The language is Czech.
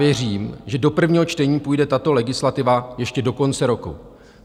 Věřím, že do prvního čtení půjde tato legislativa ještě do konce roku."